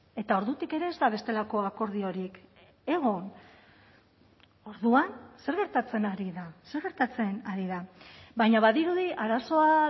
eta ordutik ere ez da bestelako akordiorik egon orduan zer gertatzen ari da zer gertatzen ari da baina badirudi arazoa